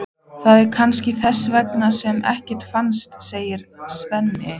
Það er kannski þess vegna sem ekkert finnst, sagði Svenni.